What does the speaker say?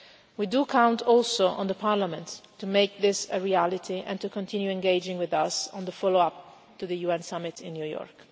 We do count also on Parliament to make this a reality, and to continue engaging with us on the follow up to the UN summit in New York.